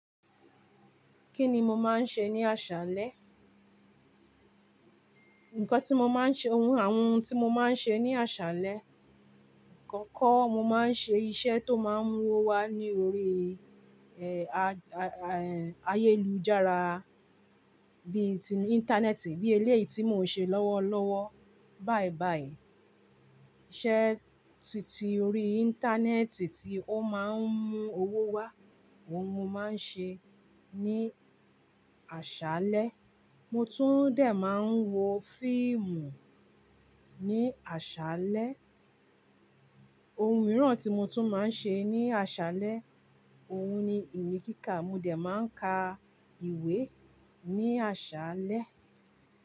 Kí ni mo máa ń ṣe ní àṣálẹ́? Ǹkan tí mo máa ń ṣe, àwọn ohun tí mo máa ń ṣe ní àṣálẹ́. Àkọ́kọ́ mo máa ń ṣe iṣẹ́ tó máa ń mú owó wá lórí, ẹ́, ayélujára bí i ti íńtánẹ́ẹ̀tì, bíi eléyìí tí mò ń ṣe lọ́wọ́lọ́wọ́ báyìí báyìí. Iṣẹ́ titi ori íńtánẹ́ẹ̀tì tí ó máa ń mú owó wá, òun mo máa ń ṣe ní àṣálẹ́. Mo tún dẹ̀ máa ń wo fíìmù ní àṣálẹ́. Ohun mìíràn tí mo tún máa ń ṣe ní àṣálẹ́, òun ni ìmíkíká. Mo dẹ̀ máa ń ka ìwé ní àṣálẹ́